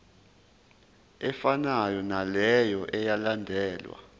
efanayo naleyo eyalandelwa